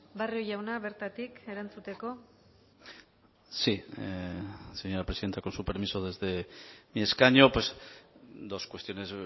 barrio jauna bertatik erantzuteko sí señora presidenta con su permiso desde mi escaño dos cuestiones